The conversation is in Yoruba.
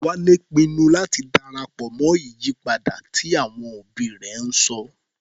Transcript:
Wálé pinnu láti darapọ̀ mọ́ ìyípadà tí àwọn òbí rẹ̀ ń sọ.